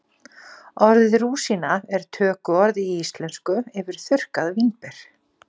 Orðið rúsína er tökuorð í íslensku yfir þurrkuð vínber.